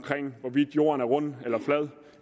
hvorvidt jorden er rund eller flad